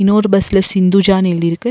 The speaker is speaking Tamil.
இன்னொரு பஸ்ல சிந்துஜா எழுதி இருக்க.